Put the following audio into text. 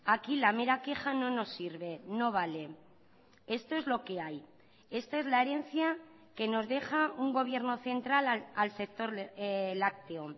aquí la mera queja no nos sirve no vale esto es lo que hay esta es la herencia que nos deja un gobierno central al sector lácteo